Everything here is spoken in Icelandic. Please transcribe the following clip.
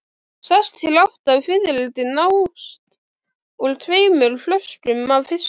Sex til átta fiðrildi nást úr tveimur flökum af fiski.